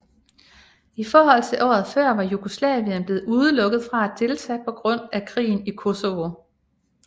I forhold til året før var Jugoslavien blevet udelukket fra at deltage på grund af krigen i Kosovo